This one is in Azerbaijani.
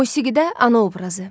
Musiqidə ana obrazı.